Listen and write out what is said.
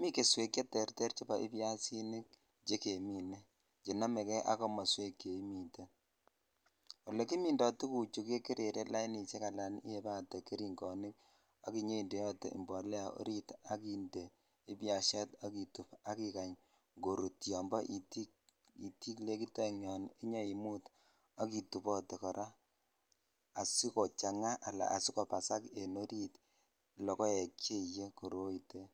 mii keswek che terter chebo ibyasinik chekemine chenomekei ak komoswek che imiten olekimindo tuguchu kekerere lainishek ala iyebatee geringoik ak inyoindeote imbolea orit ak indee ibyashat ak itub ak ikanya korut yobo negit oeng yon inyoimut ak itub kora asikochang ala asikobasak en oritlokoek ch iyee koroitet.